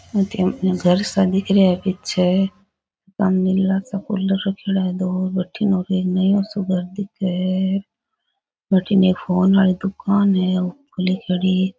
अठीन इया घर सा दिख रहा है पीछे सामने --